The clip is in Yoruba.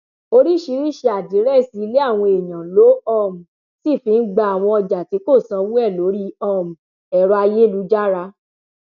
oríṣiríṣiì àdírẹsì ilé àwọn èèyàn ló um sì fi ń gba àwọn ọjà tí kò sanwó ẹ lórí um ẹrọ ayélujára